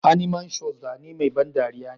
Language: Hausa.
Animations zane mai ban dariya ne.